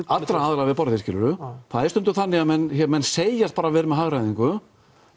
allra aðila við borðið skiluru það er stundum þannig að menn menn segjast bara vera með hagræðingu